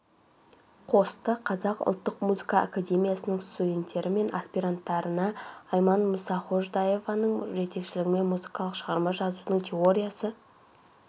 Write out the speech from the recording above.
қосты қазақ ұлттық музыка академиясының студенттері мен аспиранттарына айман мұсаходжаеваның жетекшілігімен музыкалық шығарма жазуыдың теориясы